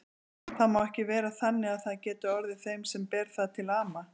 Það má ekki vera þannig að það geti orðið þeim sem ber það til ama.